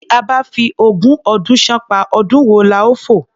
Tí a bá fi ogún ọdún ṣánpá, ọdún wo la ó fò?